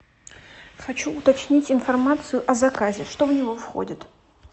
хочу уточнить информацию о заказе что в него входит